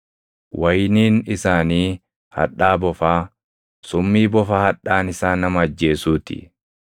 Wayiniin isaanii hadhaa bofaa, summii bofa hadhaan isaa nama ajjeesuu ti.